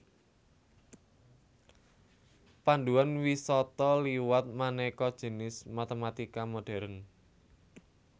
Panduan wisata liwat manéka jinis matématika modhèrn